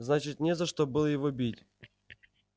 значит не за что было его бить